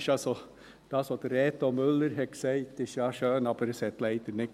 Das, was Reto Müller gesagt hat, ist ja schön, stimmt aber leider nicht.